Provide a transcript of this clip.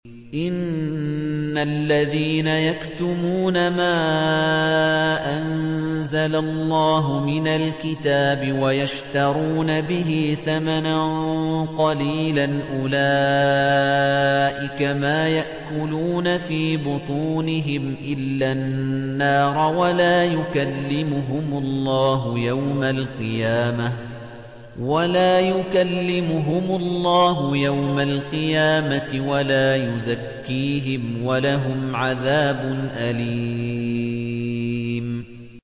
إِنَّ الَّذِينَ يَكْتُمُونَ مَا أَنزَلَ اللَّهُ مِنَ الْكِتَابِ وَيَشْتَرُونَ بِهِ ثَمَنًا قَلِيلًا ۙ أُولَٰئِكَ مَا يَأْكُلُونَ فِي بُطُونِهِمْ إِلَّا النَّارَ وَلَا يُكَلِّمُهُمُ اللَّهُ يَوْمَ الْقِيَامَةِ وَلَا يُزَكِّيهِمْ وَلَهُمْ عَذَابٌ أَلِيمٌ